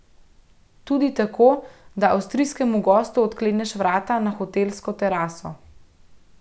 Tudi tako, da avstrijskemu gostu odkleneš vrata na hotelsko teraso.